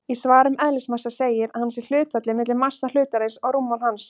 Í svari um eðlismassa segir að hann sé hlutfallið milli massa hlutarins og rúmmáls hans.